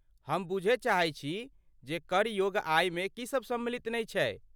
हम बूझय चाहै छी जे कर योग्य आयमे की सभ सम्मिलित नहि छै।